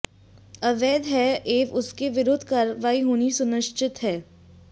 अवैध है एवं उसके विरुद्ध कार्रवाई होनी सुनिश्चित है